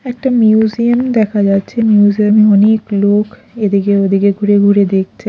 একটা মিউজিয়াম দেখা যাচ্ছে মিউজিয়ামে অনেক লোক এদিকে ওদিকে ঘুরে ঘুরে দেখছে।